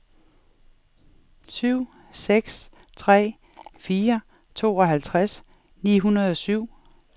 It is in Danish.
syv seks tre fire tooghalvtreds ni hundrede og syv